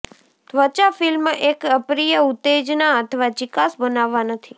ત્વચા ફિલ્મ એક અપ્રિય ઉત્તેજના અથવા ચીકાશ બનાવવા નથી